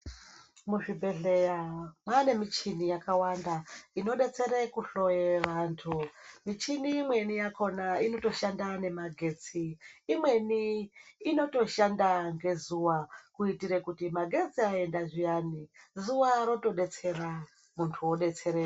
Muzvibhedhleya mwaane michini yakawanda ,inodetsere kuhloye vantu. Michini imweni yakhona inotoshanda nemagetsi ,imweni inotoshanda ngezuva, kuitire kuti magetsi aenda zviyani, zuwa rotodetsera, muntu odetsereka.